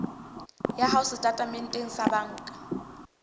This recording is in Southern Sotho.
ya hao setatementeng sa banka